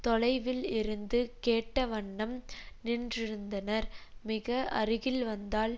தொலைவில் இருந்து கேட்ட வண்ணம் நின்றிருந்தனர் மிக அருகில் வந்தால்